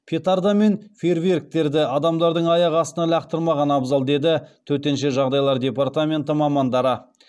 петарда мен фейерверктерді адамдардың аяқ астына лақтырмаған абзал деді төтенше жағдайлар департаменті мамандары